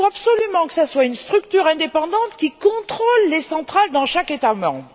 Il faut absolument que ce soit une structure indépendante qui contrôle les centrales dans chaque État membre.